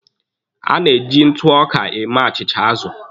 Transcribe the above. A na-eji ntụ ọka eme achịcha azụ.